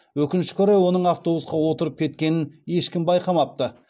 өкінішке орай оның автобусқа отырып кеткенін ешкім байқамапты